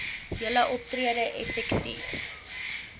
julle optrede effektief